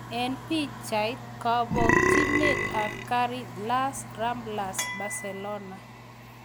Eng pichait: kabokchinet ab garit Las Ramblas, Barcelona